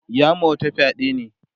ya ma wata fyaɗe ne